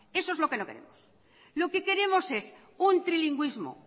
eso es lo que no queremos lo que queremos es un trilingüismo